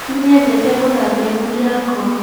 Nĩnyendete gũthambia ngũi yakwa